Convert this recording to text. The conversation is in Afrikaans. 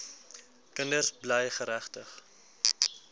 kinders bly geregtig